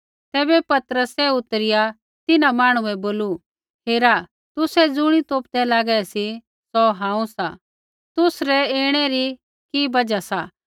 तैबै पतरसै उतरिआ तिन्हां मांहणु बै बोलू हेरा तुसै ज़ुणी तोपदै लागै सी सौ हांऊँ सा तुसरै ऐणै री कि बजहा सा